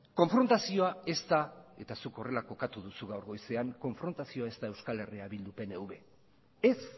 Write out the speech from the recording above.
konfrontazioa ez da eta zuk horrela kokatu duzu gaur goizean konfrontazioa ez da euskal herria bildu pnv ez